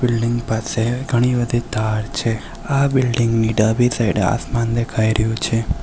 Building ની પાસે ઘણી બધી તાર છે આ બિલ્ડિંગ ની ડાબી સાઈડે આસમાન દેખાય રહ્યું છે.